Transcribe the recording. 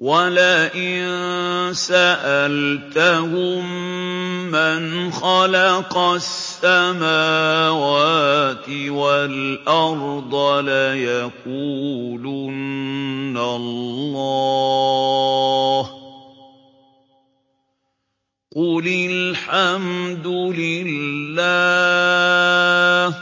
وَلَئِن سَأَلْتَهُم مَّنْ خَلَقَ السَّمَاوَاتِ وَالْأَرْضَ لَيَقُولُنَّ اللَّهُ ۚ قُلِ الْحَمْدُ لِلَّهِ ۚ